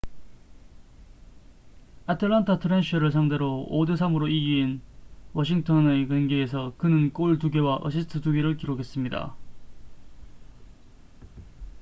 atlanta thrashers를 상대로 5-3으로 이긴 washington의 경기에서 그는 골 2개와 어시스트 2개를 기록했습니다